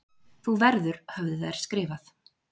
Þú verður höfðu þær skrifað.